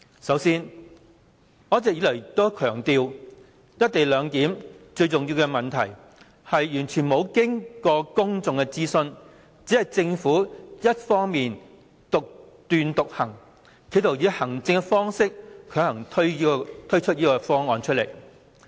首先，我一直以來也強調"一地兩檢"中最重要的問題，就是完全沒有經過公眾諮詢，只是政府單方面獨斷獨行，企圖以行政方式強行推出方案。